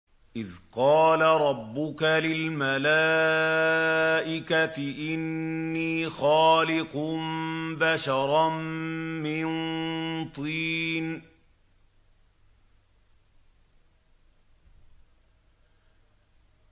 إِذْ قَالَ رَبُّكَ لِلْمَلَائِكَةِ إِنِّي خَالِقٌ بَشَرًا مِّن طِينٍ